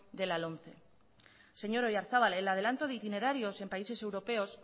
de la lomce señor oyarzabal el adelanto de itinerarios en países europeos